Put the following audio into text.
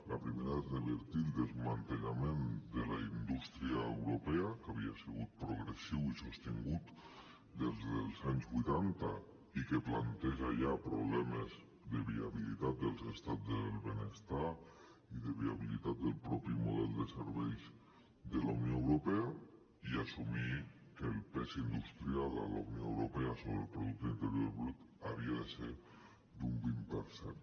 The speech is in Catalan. el primer és revertir el desmantellament de la indústria europea que havia sigut progressiu i sostingut des dels anys vuitanta i que planteja ja problemes de viabilitat dels estats del benestar i de viabilitat del mateix model de serveis de la unió europea i assumir que el pes industrial a la unió europea sobre el producte interior brut havia de ser d’un vint per cent